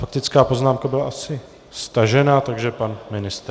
Faktická poznámka byla asi stažena, takže pan ministr.